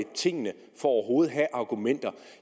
tingene for overhovedet at have argumenter